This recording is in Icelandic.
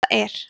þetta er